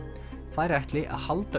þær ætli að halda